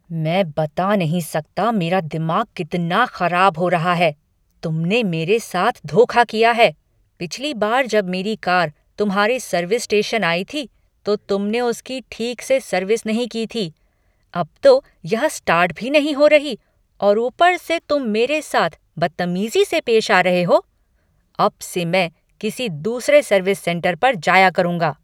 मैं बता नहीं सकता मेरा दिमाग कितना खराब हो रहा है, तुमने मेरे साथ धोखा किया है, पिछली बार जब मेरी कार तुम्हारे सर्विस स्टेशन आई थी, तो तुमने उसकी ठीक से सर्विस नहीं की थी। अब तो यह स्टार्ट भी नहीं हो रही और ऊपर से तुम मेरे साथ बद्तमीज़ी से पेश आ रहे हो, अब से मैं किसी दूसरे सर्विस सेंटर पर जाया करूंगा।